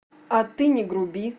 а ты не груби